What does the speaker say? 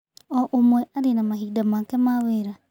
O ũmwe arĩ na mahinda make ma wĩra